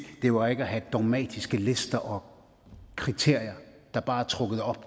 det var ikke at have dogmatiske lister og kriterier der bare er trukket op